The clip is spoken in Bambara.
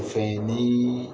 Fɛn ye ni